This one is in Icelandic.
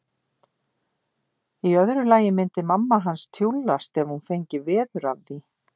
Í öðru lagi myndi mamma hans tjúllast ef hún fengi veður af því.